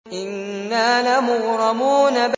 إِنَّا لَمُغْرَمُونَ